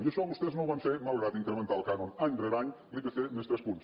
i això vostès no ho van fer malgrat incrementar el cànon any rere any l’ipc més tres punts